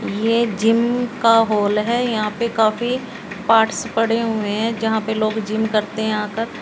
यह जिम का हाल है। यहां पर काफी पार्ट्स पड़े हुए हैं। जहां पर लोग जिम करते हैं आकर।